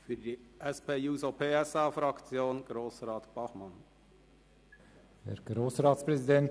Für die SP-JUSO-PSA-Fraktion hat Grossrat Bachmann das Wort.